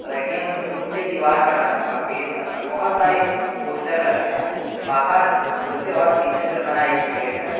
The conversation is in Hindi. और ए_टी_एम के रूम के दीवार का रंग सफेद है और बहोत सारे पोस्टर लगे हैं बाहर लोगे और शीशे से बना एक गेट है।